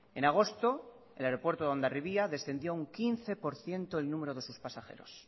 en agosto el aeropuerto de hondarribia descendió un quince por ciento el número de sus pasajeros